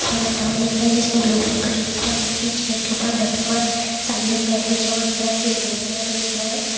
इसमें बैठा हुआ दिख रहा है जिसने ब्लू कलर की ड्रेस पहन रखी है चेयर के ऊपर बैठा हुआ है सामने एक बेड बिछा हुआ दिख रहा है जो ग्रीन कलर में दिख रहा है।